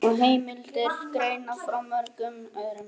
Og heimildir greina frá mörgum öðrum.